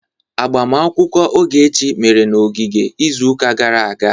Agbamakwụkwọ Ogechi mere na ogige izuụka gara aga.